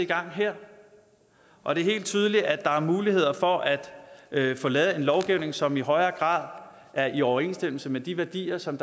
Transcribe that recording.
gang her og det er helt tydeligt at der er muligheder for at få lavet en lovgivning som i højere grad er i overensstemmelse med de værdier som